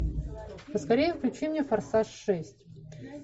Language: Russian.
поскорее включи мне форсаж шесть